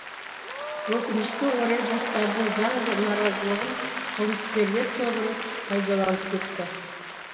өкінішке орай жастардың заңды наразылығын қылмыскерлер тобыры пайдаланып кетті